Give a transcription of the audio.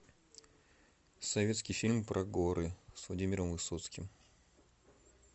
советский фильм про горы с владимиром высоцким